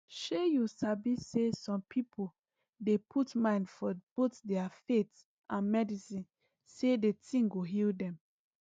shey you sabi saysome people dey put mind for both their faith and medicine say d thing go heal them